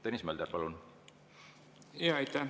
Tõnis Mölder, palun!